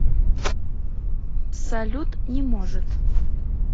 салют не может